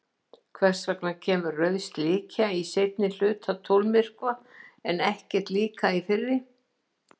Hvers vegna kemur rauð slikja í seinni hluta tunglmyrkva en ekki líka í fyrri?